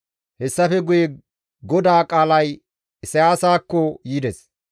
Hessafe guye GODAA qaalay Isayaasakko yides.